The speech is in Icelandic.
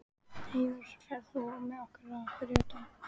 Eyrós, ferð þú með okkur á þriðjudaginn?